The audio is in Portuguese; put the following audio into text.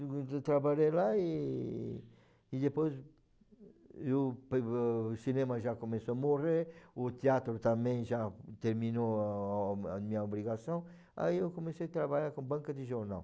Eu trabalhei lá e e depois eu o cinema já começou a morrer, o teatro também já terminou a minha obrigação, aí eu comecei a trabalhar com banca de jornal.